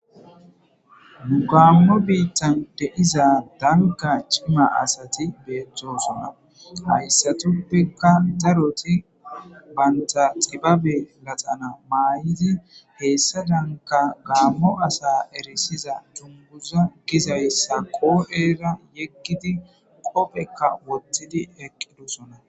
Nugammo biittan deiza danka cima asati beeththosona hayssatuppeka daroti baynta xibabe laxana maay7izi heessa shanka gaammo asa erisiza dumbuza gizayssa qoo7era yekkidi qopphekka wottidi eqqidosona